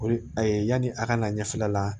O de ye yani a ka na ɲɛfɛla la